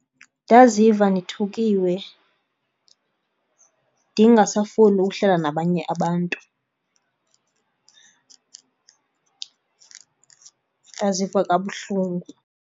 Ndaziva ndithukiwe ndingasafuni ukuhlala nabanye abantu. Ndaziva kabuhlungu.